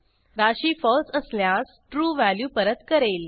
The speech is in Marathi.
राशी फळसे असल्यास ट्रू व्हॅल्यू परत करेल